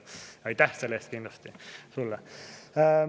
Aitäh selle eest kindlasti sulle!